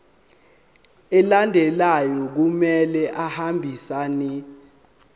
alandelayo kumele ahambisane